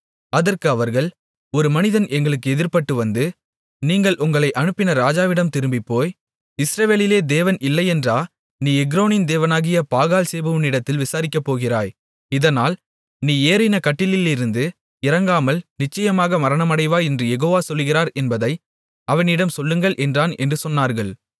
அதற்கு அவர்கள் ஒரு மனிதன் எங்களுக்கு எதிர்ப்பட்டுவந்து நீங்கள் உங்களை அனுப்பின ராஜாவிடம் திரும்பிப்போய் இஸ்ரவேலிலே தேவன் இல்லையென்றா நீ எக்ரோனின் தேவனாகிய பாகால்சேபூவிடத்தில் விசாரிக்கப்போகிறாய் இதனால் நீ ஏறின கட்டிலிலிருந்து இறங்காமல் நிச்சயமாக மரணமடைவாய் என்று யெகோவா சொல்லுகிறார் என்பதை அவனிடம் சொல்லுங்கள் என்றான் என்று சொன்னார்கள்